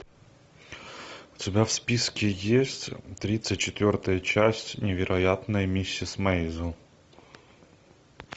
у тебя в списке есть тридцать четвертая часть невероятная миссис мейзел